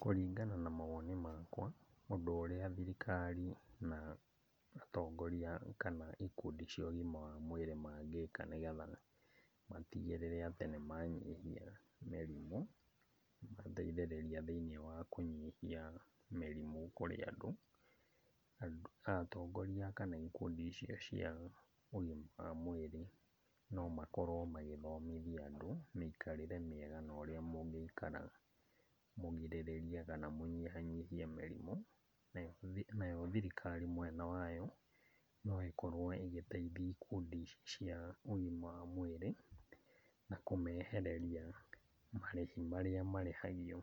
Kũringana na mawoni makwa, ũndũ ũrĩa thirikari na atongoria, kana ikundi cia ũgima wa mwĩrĩ mangĩka nĩgetha matigĩrĩre atĩ nĩmanyihia mĩrimũ, mateithĩrĩria thĩiniĩ wa kũnyihia mĩrimũ kũrĩ andũ. Atongoria kana ikundi icio cia ũgima wa mwĩrĩ, nomakorwo magĩthomithia andũ mĩikarĩre mĩega na ũrĩa mũngĩikara mũgirĩrĩrie kana mũnyihanyihie mĩrimũ. Nayo thirikari mwena wayo, no ĩkorwo ĩgĩteithia ikundi ici cia ũgima wa mwĩrĩ, na kũmehereria marĩhi marĩa marĩhagio